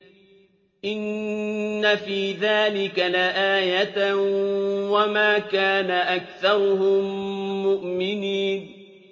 إِنَّ فِي ذَٰلِكَ لَآيَةً ۖ وَمَا كَانَ أَكْثَرُهُم مُّؤْمِنِينَ